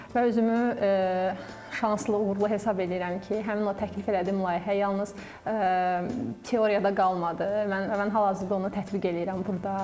Və özümü şanslı, uğurlu hesab eləyirəm ki, həmin o təklif elədiyim layihə yalnız nəzəriyyədə qalmadı və mən hal-hazırda onu tətbiq eləyirəm burda.